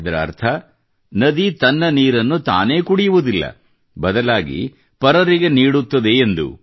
ಇದರ ಅರ್ಥ ನದಿ ತನ್ನ ನೀರನ್ನು ತಾನೇ ಕುಡಿಯುವುದಿಲ್ಲ ಬದಲಾಗಿ ಪರರಿಗೆ ನೀಡುತ್ತದೆ ಎಂದು